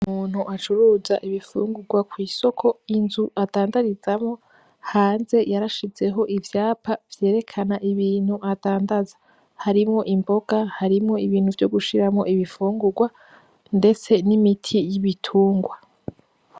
Umuntu acuruza ibifungugwa kw'isoko inzu adandarizamwo hanze yarashizeho ivyapa vyerekana ibintu adandaza, harimwo imboga, harimwo ibintu vyogushiramo ibifungugwa. Ndetse n'imiti y'ibitungwa.